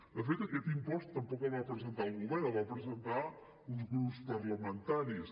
de fet aquest impost tampoc el va presentar el govern el van presentar uns grups parlamentaris